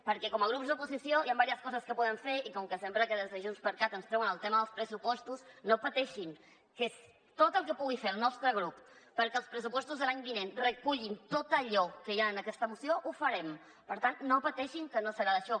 perquè com a grups d’oposició hi ha diverses coses que poden fer i com que sempre que des de junts per cat ens treuen el tema dels pressupostos no pateixin que tot el que pugui fer el nostre grup perquè els pressupostos de l’any vinent recullin tot allò que hi ha en aquesta moció ho farem per tant no pateixin que no serà d’això